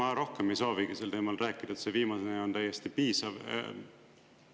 Ega ma rohkem ei soovigi sel teemal rääkida, see viimane on täiesti piisav.